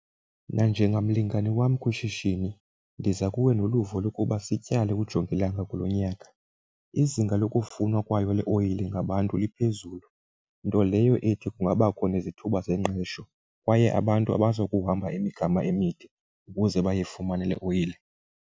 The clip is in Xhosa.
Nanjengamlingane wam kwishishini, ndiza kuwe noluvo lokuba sityale ujongilanga kulo nyaka. Izinga lokufunwa kwayo le oyile ngabantu liphezulu, nto leyo ethi kungabakho nezithuba zengqesho, kwaye abantu abazukuhamba imigama emide ukuze bayifumane le oyile.